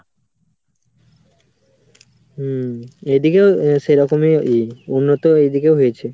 হম এদিকেও সেরকমই উন্নত এদিকেও হয়েছে.